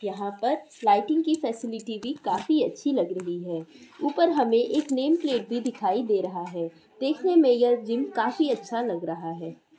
यहाँ पर फ़्लाइटिंग की फैसिलिटी भी काफी अच्छी लग रही है| ऊपर हमें एक नेम प्लेट भी दिखाई दे रहा है| देखने में यह जिम काफी अच्छा लग रहा है।